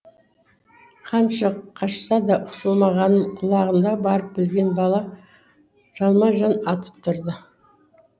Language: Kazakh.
қанша қашса да құтылмағанын құлағанда барып білген бала жалма жан атып тұрды